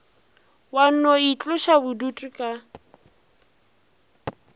wa no itloša bodutu ka